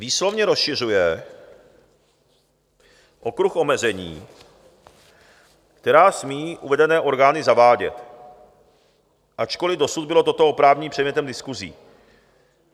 Výslovně rozšiřuje okruh omezení, která smí uvedené orgány zavádět, ačkoliv dosud bylo toto oprávnění předmětem diskusí.